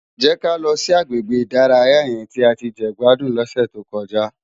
Jè ká lò si àgbégbé idàráyá yèn ti á ti jegbádún lòsè tókòjá